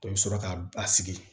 Dɔ i bɛ sɔrɔ ka a sigi